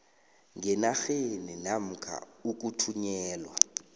ngenarheni namkha ukuthunyelwa